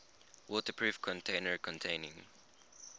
waterproof container containing